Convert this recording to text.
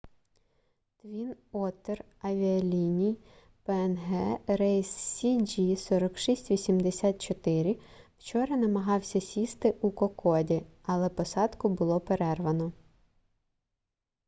твін оттер авіаліній пнг рейс cg4684 вчора намагався сісти у кокоді але посадку було перервано